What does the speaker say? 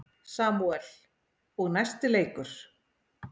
Samúel: Og næsti leikur.